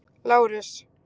Lárus